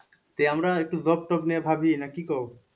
আমরা একটু job tob নিয়ে ভাবি না কি কোঔ?